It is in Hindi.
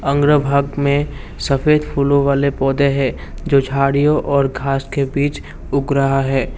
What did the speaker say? उंगरा भाग में सफेद फूलों वाले पौधे हैं जो झाड़ियों और घास के बीच उग रहा है।